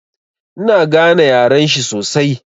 Ina gane yaren shi sosai.